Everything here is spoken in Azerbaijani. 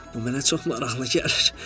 Bu mənə çox maraqlı gəlir.